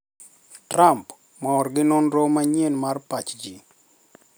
Trump mor gi nonro manyien mar pach ji